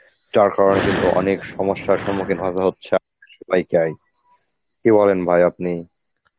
যার কারণে কিন্তু অনেক সমস্যার সম্মুখীন হতে হচ্ছে, ওইটাই. কি বলেন ভাই আপনি?